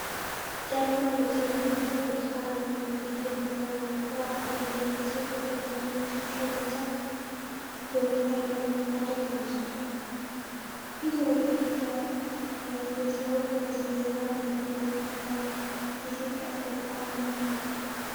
ጨለማ ልብስ የለበሰ፣ ብርቱካናማ አንገትጌ ማሰሪያ (ክራባት) ያደረገ ሰው ጭንቅላቱና ትከሻው ብቻ በሚታይ መልኩ ፎቶ ተነስቷል። ፊቱ ወደ ፊት ያየ ሲሆን፣ ከስተጀርባ በከፊል የሚታይ የኢትዮጵያ ሰንደቅ ዓላማ ይታያል።